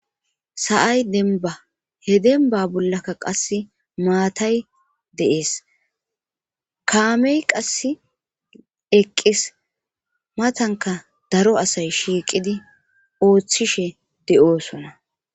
sa7ay demba he denba bollaka qasse maatay de7ees kaamey qass eqqis matanka daro asay shiiqidi ooththishe de7oosona